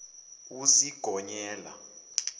usigonyela